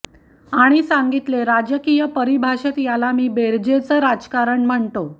आणि सांगितले राजकीय परिभाषेत याला मी बेरजेच राजकारण म्हणतो